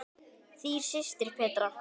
Þín systir, Petra.